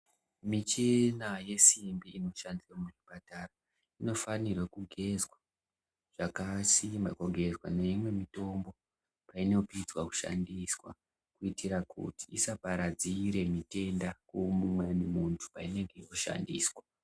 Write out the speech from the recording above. Michina yesimbi inoshandiswa muzvipatara inofanirwe kugezwa kugezwa zvakasimba neimwe mitombo painopedza kushandiswa kuitira kuti isaparadzire kumumweni munhu painenga yakushandiswa.